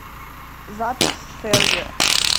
запись сэргэ